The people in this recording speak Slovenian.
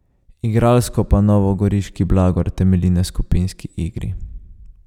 Igralsko pa novogoriški Blagor temelji na skupinski igri.